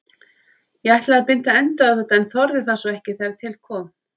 Ég ætlaði að binda enda á þetta en þorði það svo ekki þegar til kom.